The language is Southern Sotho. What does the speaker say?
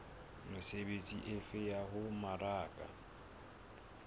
mesebetsi efe ya ho mmaraka